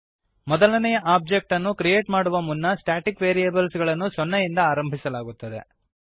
ಮೊದಲನೆಯ ಒಬ್ಜೆಕ್ಟ್ ಅನ್ನು ಕ್ರಿಯೇಟ್ ಮಾಡುವ ಮುನ್ನ ಸ್ಟ್ಯಾಟಿಕ್ ವೇರಿಯಬಲ್ಸ್ ಗಳನ್ನು ಸೊನ್ನೆಯಿಂದ ಆರಂಭಿಸಲಾಗುತ್ತದೆ